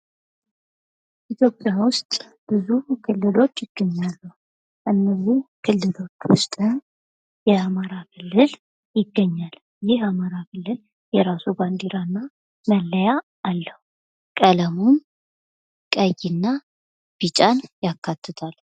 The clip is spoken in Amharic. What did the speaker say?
ኢትዮጵያ ውስጥ ብዙ ክልሎች ይገኛሉ ከነዚህ ክልሎች ውስጥም የአማራ ክልል ይገኛል ይህ የአማራ ክልል የራሱ ባንዲራና መለያ አለው ቀለሙም ቀይና ቢጫን ያካትታል።